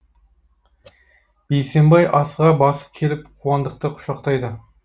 бейсенбай асыға басып келіп қуандықты құшақтайды